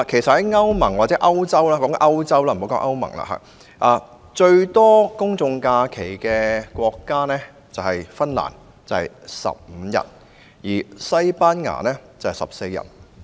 至於歐洲國家，最多公眾假期的國家是芬蘭，有15日，而西班牙則有14日。